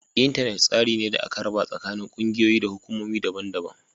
Intanet tsari ne da aka raba tsakanin kungiyoyi da hukumomi daban-daban